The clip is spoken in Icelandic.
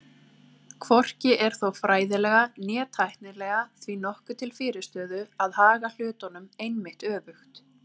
Hvorki er þó fræðilega né tæknilega því nokkuð til fyrirstöðu að haga hlutunum einmitt öfugt.